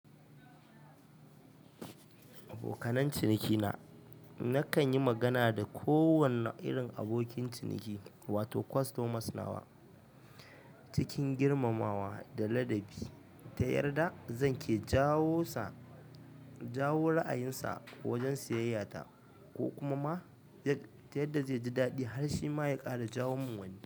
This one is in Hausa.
Abokan cinikina, nakan yi magana da kowane irin abokin ciniki wato customers nawa cikin girmamawa da ladabi. Ta yarda zan ke jawo ra'ayin sa wajen siyayya ta, ko kuma ma ta yadda zai ji daɗi har shi ma ya ƙara jawo min wani.